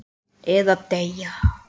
Eða deyja.